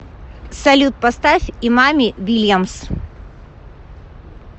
салют поставь имами вильямс